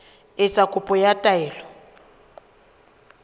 ho etsa kopo ya taelo